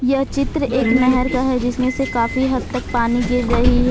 यह चित्र एक नहर का है जिसमें से काफी हद तक पानी गिर रही है।